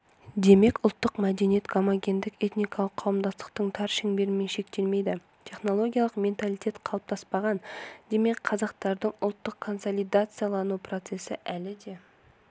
демек ұлттық мәдениет гомогендік этникалық қауымдастықтың тар шеңберімен шектелмейді технологиялық менталитет қалыптаспаған демек қазақтардың ұлттық консолидациялану процесі әлі де